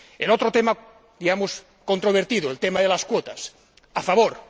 En el otro tema —digamos— controvertido, el tema de las cuotas, estoy a favor.